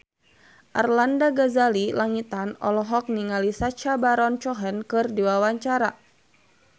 Arlanda Ghazali Langitan olohok ningali Sacha Baron Cohen keur diwawancara